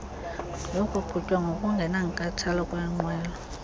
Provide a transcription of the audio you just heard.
yokuqhutywa ngokungenankathalo kweenqwelo